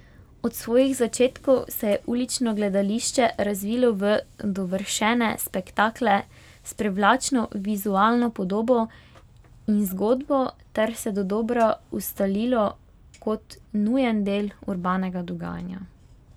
Od svojih začetkov se je ulično gledališče razvilo v dovršene spektakle s privlačno vizualno podobo in zgodbo ter se dodobra ustalilo kot nujen del urbanega dogajanja.